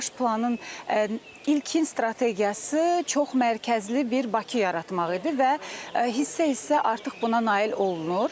Baş planın ilkin strategiyası çox mərkəzli bir Bakı yaratmaq idi və hissə-hissə artıq buna nail olunur.